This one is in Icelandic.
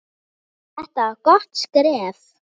Þetta var gott skref.